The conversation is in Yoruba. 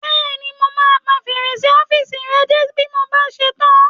Bẹ́ẹ̀ni, mo máa pa fèrèsé ọ́fìsì rẹ dé bí mo bá ṣe tán